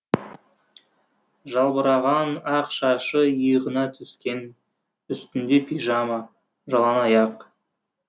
жалбыраған ақ шашы иығына түскен үстінде пижама жалаңаяқ